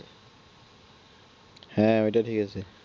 হ্যাঁ ওইটা ঠিক আছে